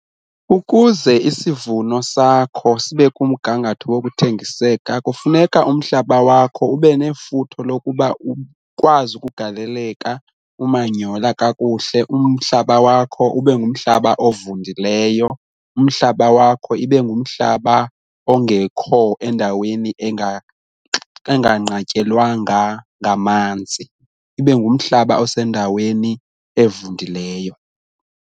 Ukuze isivuno sakho sibe kumgangatho wokuthengiseka kufuneka umhlaba wakho ube nefuthe lokuba ukwazi ukugaleleka umanyhola kakuhle umhlaba wakho ube ngumhlaba ovundileyo, umhlaba wakho ibe ngumhlaba ongekho endaweni enganqatyelwanga ngamanzi ibe ngumhlaba osendaweni evundileyo.